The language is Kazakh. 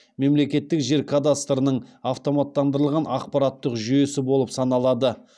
мемлекеттік жер кадастрының автоматтандырылған ақпараттық жүйесі болып саналады